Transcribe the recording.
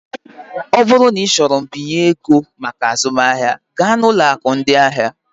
Ọ bụrụ na ịchọrọ mbinye ego maka azụmahịa, gaa na ụlọ akụ ndị ahịa.